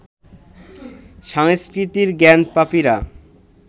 সংস্কৃতির জ্ঞানপাপীরা